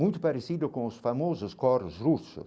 Muito parecido com os famosos coros russos.